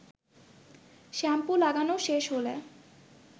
shampoo লাগানো শেষ হলে